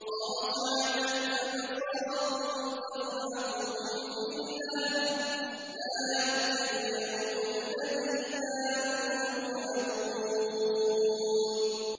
خَاشِعَةً أَبْصَارُهُمْ تَرْهَقُهُمْ ذِلَّةٌ ۚ ذَٰلِكَ الْيَوْمُ الَّذِي كَانُوا يُوعَدُونَ